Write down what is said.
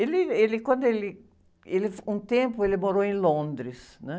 Ele, ele quando ele... Um tempo ele morou em Londres, né?